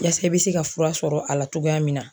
Yaasa i be se ka fura sɔrɔ a la togoya min na